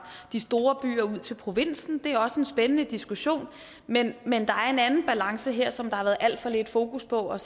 de store byer og ud til provinsen det er også en spændende diskussion men men der er en anden balance her som der har været alt for lidt fokus på og